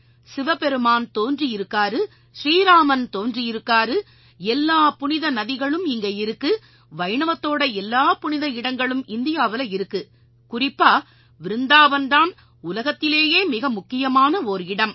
சிவபெருமான் தோன்றியிருக்காரு ஸ்ரீஇராமன் தோன்றியிருக்காரு எல்லா புனித நதிகளும் இங்க இருக்கு வைணவத்தோட எல்லா புனித இடங்களும் இந்தியாவுல இருக்கு குறிப்பா விருந்தாவன் தான் உலகத்திலேயே மிக முக்கியமான ஓர் இடம்